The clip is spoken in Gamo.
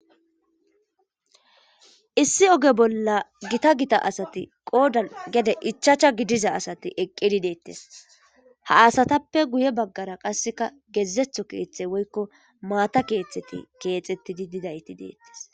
issi oge bolla gita gita asati qoodan gede ichacha gidiza asati eqqidi deettes ha asatappe guye baggara qasseka geezetho keeththe woykko maata keeththeti keexettidi didayti deettes